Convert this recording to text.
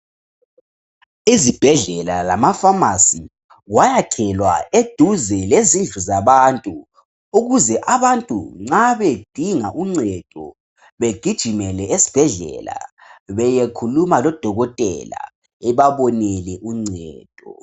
Izibhedlela lamapharmacy kwayakhelwa eduze lezindlu zabantu ukuze abantu nxa bedinga uncedo begijimele esibhedlela beyekhuluma lodokotela ebabonele uncedo